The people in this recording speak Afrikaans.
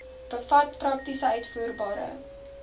bevat prakties uitvoerbare